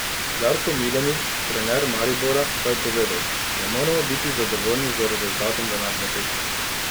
Darko Milanič, trener Maribora, pa je povedal: "Ne moremo biti zadovoljni z rezultatom današnje tekme.